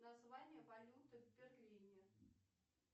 название валюты в берлине